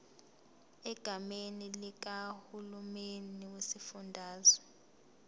egameni likahulumeni wesifundazwe